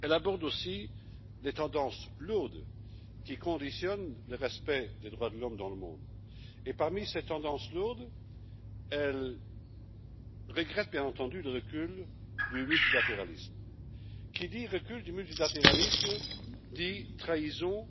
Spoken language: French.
Elle aborde aussi les tendances lourdes qui conditionnent le respect des droits de l'homme dans le monde et parmi ces tendances lourdes, elle regrette bien entendu le recul du multilatéralisme. Qui dit recul du multilatéralisme dit trahison